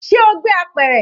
Ṣe o gbé apẹ̀rẹ̀?